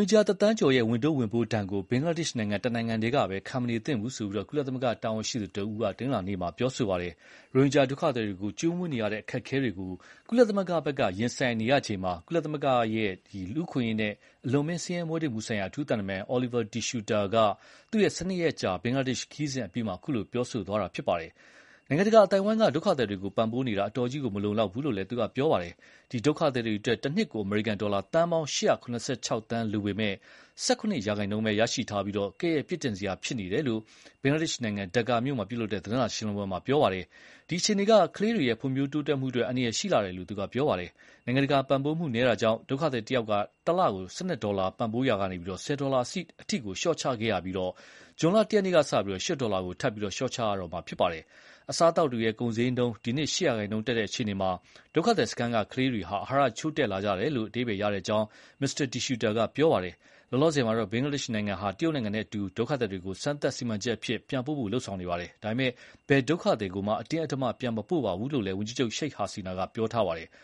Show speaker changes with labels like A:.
A: င်ဂျာတစ်သန်းကျော်ရဲ့ ဝန်ထုပ်ဝန်ပိုးဒဏ်ကို ဘင်္ဂလားဒေ့ရှ်နိုင်ငံ တစ်နိုင်ငံတည်းကပဲ ခံမနေသင့်ဘူး လို့ ကုလသမဂ္ဂတာဝန်ရှိသူတစ်ဦးက တနင်္လာနေ့မှာ ပြောကြားလိုက်ပါတယ်။ ရိုဟင်ဂျာ ဒုက္ခသည်တွေကို ကျွေးမွေးနေရတဲ့ အခက်အခဲတွေ ကို ကုလသမဂ္ဂ က ရင်ဆိုင်ဆိုင်နေရချိန်၊ ကုလသမဂ္ဂ ရဲ့ လူ့အခွင့်အရေး နဲ့ အလွန်အမင်း ဆင်းရဲမွဲတေမှုဆိုင်ရာ အထူးသံတမန် Olivier De Schutter က ၁၂ ရက်ကြာဘင်္ဂလားဒေ့ရှ် ခရီးစဥ် အပြီးမှာ ခုလို ပြောလိုက်တာလည်းဖြစ်ပါတယ်။ နိုင်ငံတကာ အသိုက်အဝန်းက ဒုက္ခသည်တွေကို ပံ့ပိုးပေးနေတာ အတော်ကြီးကို မလုံလောက်ဘူးလို့ သူက ဆိုပါတယ်။ ဒီဒုက္ခသည်တွေအတွက် တစ်နှစ်ကို အမေရိကန် ဒေါ်လာ သန်းပေါင်း ၈၇၆ သန်း လိုပေမဲ့ ၁၇ ရာနှုန်း ပဲ ရရှိထားပြီး၊ ကဲ့ရဲ့ပြစ်တင်စရာ ဖြစ်ပါတယ်လို့ ဘင်္ဂလားဒေ့ရှ် နိုင်ငံ ဒက္ကားမြို့ မှာ ပြုလုပ်တဲ့ သတင်းစာရှင်းလင်းပွဲ မှာ ပြောကြားပါတယ်။ ဒီအခြေအနေက ကလေးတွေရဲ့ ဖွံဖြိုးတိုးတက်မှုအတွက် အန္တရာယ်ရှိလှတယ်လို့သူကဆိုပါတယ်။ နိုင်ငံတကာပံ့ပိုးမှုနည်းတာကြောင့် ဒုက္ခသည်တစ်ယောက်တစ်လ ကို ၁၂ ဒေါ်လာ ပံ့ပိုးရာကေန ၁၀ ဒေါ်လာ ကို လျှော့ချခဲ့ရပြီး ဇွန်လ ၁ ရက်နေ့က စလို့ ၈ ဒေါ်လာကို လျှော့ချရတော့မှာ ဖြစ်ပါတယ်။ အစားအသောက်တွေရဲ့ ကုန်စျေးနှုန်းဒီနှစ် ၈ ရာနှုန်းတက်တဲ့ အခြေအနေမှာ ဒုက္ခသည်စခန်း က ကလေးတွေ အဟာရချို့တဲ့လာကြတယ်လို့အဓိပ္ပါယ်ရကြောင်းမစ္စတာ De Schutter က ပြောပါတယ်။ လောလောဆယ်မှာတော့ ဘင်္ဂလားဒေ့ရှ် နိုင်ငံဟာ တရုတ်နိုင်ငံနဲ့အတူ ဒုက္ခသည်တွေကိုစမ်းသပ်စီမံချက် အဖြစ် ပြန်ပို့ဖို့ လုပ်ဆောင်နေကြပါတယ်။ ဒါပေမဲ့ ဘယ်ဒုက္ခသည်ကိုမှ အတင်းအဓမ္မ ပြန်မပို့ပါဘူး လို့လည်းဝန်ကြီးချုပ် Sheikh Hasina ကတော့ ဆိုပါတယ်။